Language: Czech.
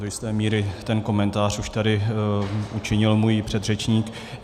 Do jisté míry ten komentář už tady učinil můj předřečník.